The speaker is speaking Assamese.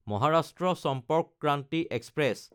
মহাৰাষ্ট্ৰ চম্পৰ্ক ক্ৰান্তি এক্সপ্ৰেছ